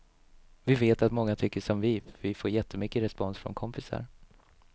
Vi vet att många tycker som vi, för vi får jättemycket respons från kompisar.